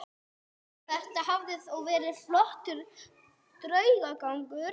Þetta hafði þó verið flottur draugagangur.